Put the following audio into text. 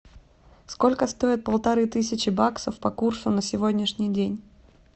сколько стоит полторы тысячи баксов по курсу на сегодняшний день